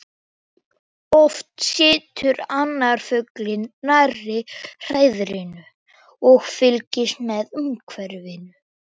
Oft situr annar fuglinn nærri hreiðrinu og fylgist með umhverfinu.